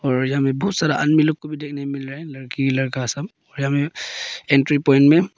और यहां में बहुत सारा आदमी लोग देखने को मिल रहा है लड़की लड़का सब एंट्री पॉइंट में।